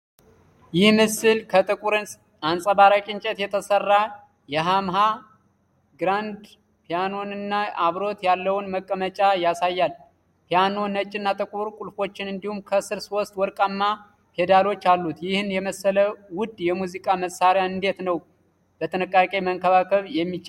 ይህ ምስል ከጥቁር አንጸባራቂ እንጨት የተሰራ የያማሃ (YAMAHA) ግራንድ ፒያኖንና አብሮት ያለውን መቀመጫ ያሳያል። ፒያኖው ነጭና ጥቁር ቁልፎች፣ እንዲሁም ከስር ሶስት ወርቃማ ፔዳሎች አሉት። ይህን የመሰለ ውድ የሙዚቃ መሳሪያ እንዴት ነው በጥንቃቄ መንከባከብ የሚቻለው?